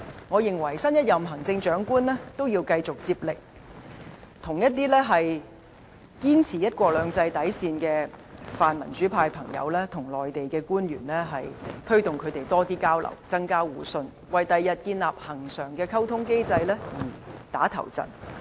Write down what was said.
我認為新一任行政長官也要繼續接力，促成一些堅持"一國兩制"底線的泛民主派朋友與內地官員加強交流，增強互信，為日後建立恆常的溝通機制"打頭陣"。